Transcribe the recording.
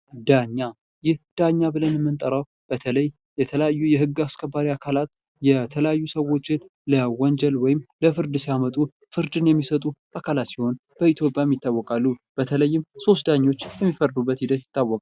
ዳኛ ይህ ዳኛ ብለን የምንጠራው በተለይ የተለያዩ የህግ አስከባሪ አካላት የተለያዩ ሰዎችን ለወንጀል ወይም ለፍርድ ሲያመጡ ፍርድን የሚሰጡ አካላት ሲሆኑ በኢትዮጵያም ይታወቃሉ በተለይም ሶስት ዳኛ የሚፈርድበት ሂደት ይታወቃል።